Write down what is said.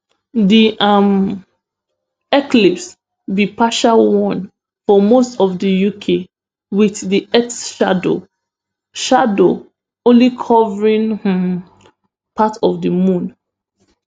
di um eclipse be partialone for most of di uk with di earth shadow shadow only covering um part of di moon